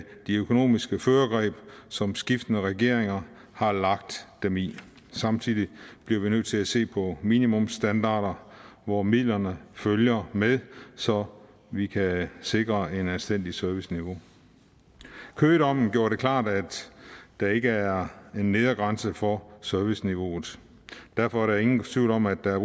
det økonomiske førergreb som skiftende regeringer har lagt dem i samtidig bliver vi nødt til at se på minimumsstandarder hvor midlerne følger med så vi kan sikre et anstændigt serviceniveau køgedommen gjorde det klart at der ikke er en nedre grænse for serviceniveauet derfor er der ingen tvivl om at der er